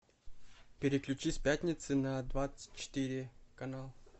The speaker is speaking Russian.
переключи с пятницы на двадцать четыре канал